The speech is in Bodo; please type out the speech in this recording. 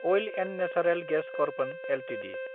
oil & natural gas corporation Ltd